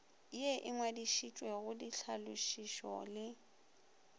ye e ngwadišitšwego ditlhalošišo le